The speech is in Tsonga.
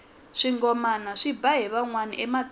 swingomana swi ba hi vanhwana ematini